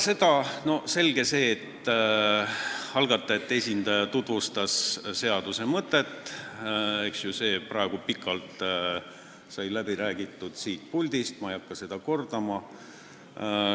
Selge see, et algatajate esindaja tutvustas seaduse mõtet, aga sellest sai siit puldist juba pikalt räägitud, ma ei hakka seda kordama.